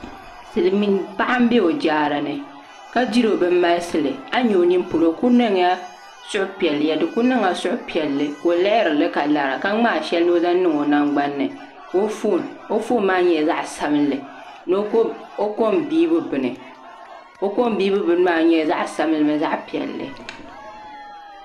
Silmiin paɣa n bɛ o jaara ni ka diri o bin malisili a yi nyɛ o nini polo o ku niŋla suhupiɛlli ka o lihirili ka lara ka ŋmaa shɛli ni o zaŋ niŋ o nangbanni ka o foon o foon maa nyɛla zaɣ sabinli ni o kom biibu bini o kom biibu bini maa nyɛla zaɣ sabinli mini zaɣ piɛlli